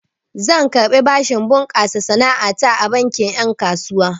Zan karɓi bashin bunƙasa sana'a ta a bankin ƴen kasuwa.